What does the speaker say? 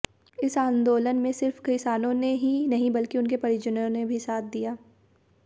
इस आंदोलन में सिर्फ किसानों ने ही नहीं बल्कि उनके परिजनों ने भी साथ दिया